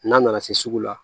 N'a nana se sugu la